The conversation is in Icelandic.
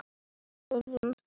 öðrum þyrma.